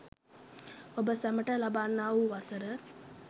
ඔබ සැමට ලබන්නා වූ වසර